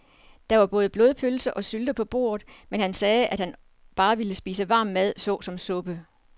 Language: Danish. Der var både blodpølse og sylte på bordet, men han sagde, at han bare ville spise varm mad såsom suppe.